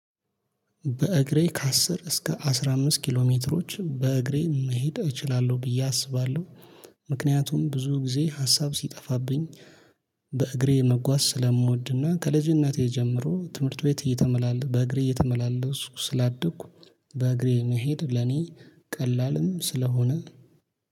በእግሬ ከአስር እስከ አስራ አምት ኪሎ ሜትሮች በእግሬ መሄድ እችላለሁ ብዬ አስባለሁ። ምክንያቱም ብዙ ጊዜ ሀሳብ ሲጠፋብኝ። በእግሬ መጓዝ ስለምወድና ከልጅነቴ ጀምሮ ትምህርት ቤት። በእግሬ እየተመላለስኩ ስላደኩ። በእግሬ መሄድ ለኔ ቀላልም ስለሆነ